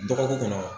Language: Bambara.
Dɔgɔkun kɔnɔ